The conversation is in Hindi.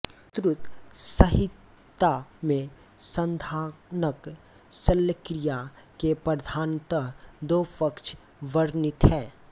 सुश्रुत संहिता में संधानक शल्यक्रिया के प्रधानतः दो पक्ष वर्णित हैं